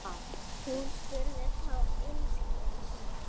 Hún spurði þó einskis.